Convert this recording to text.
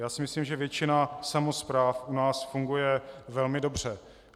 Já si myslím, že většina samospráv u nás funguje velmi dobře.